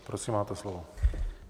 Prosím, máte slovo.